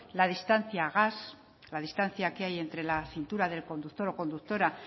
la distancia gas la distancia que hay entre la cintura del conductor o conductora